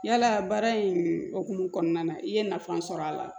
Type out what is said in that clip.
Yalaa baara in hokumu kɔnɔna na i ye nafa sɔrɔ a la